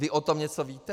Vy o tom něco víte?